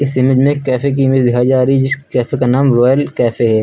इस इमेज में एक कैफे की इमेज दिखाई जा रही जिस कैफे का नाम रॉयल कैफे है।